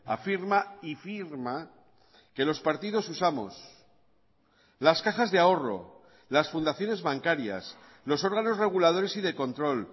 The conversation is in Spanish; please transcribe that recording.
afirma y firma que los partidos usamos las cajas de ahorro las fundaciones bancarias los órganos reguladores y de control